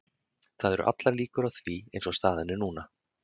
Það eru allar líkur á því eins og staðan er núna.